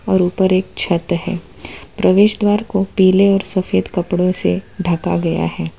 और ऊपर एक छत है प्रवेश द्वार को पीले और सफेद कपड़ो से ढका गया है।